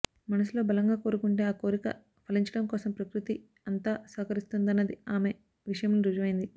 మనసులో బలంగా కోరుకుంటే ఆ కోరిక ఫలించడం కోసం ప్రకృతి అంతా సహకరిస్తుందన్నది ఆమె విషయంలో రుజువైంది